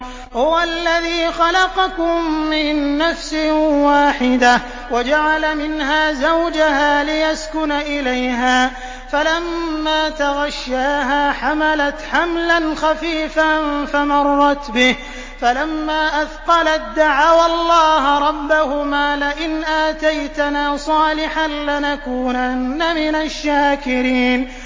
۞ هُوَ الَّذِي خَلَقَكُم مِّن نَّفْسٍ وَاحِدَةٍ وَجَعَلَ مِنْهَا زَوْجَهَا لِيَسْكُنَ إِلَيْهَا ۖ فَلَمَّا تَغَشَّاهَا حَمَلَتْ حَمْلًا خَفِيفًا فَمَرَّتْ بِهِ ۖ فَلَمَّا أَثْقَلَت دَّعَوَا اللَّهَ رَبَّهُمَا لَئِنْ آتَيْتَنَا صَالِحًا لَّنَكُونَنَّ مِنَ الشَّاكِرِينَ